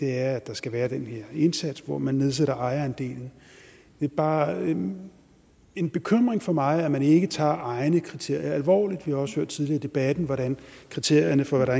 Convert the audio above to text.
her er at der skal være den her indsats hvor man nedsætter ejerandelen det er bare en en bekymring for mig at man ikke tager egne kriterier alvorligt vi har også hørt tidligere i debatten hvordan kriterierne for hvad der